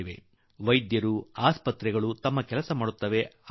ಸರ್ಕಾರ ಆಸ್ಪತ್ರೆಗಳು ವೈದ್ಯರು ಅವರೇನೋ ತಮ್ಮ ಕೆಲಸ ಮಾಡಿಯಾರು